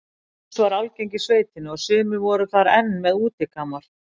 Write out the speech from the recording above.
Lús var algeng í sveitinni og sumir voru þar enn með útikamar.